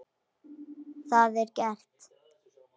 Það var gert.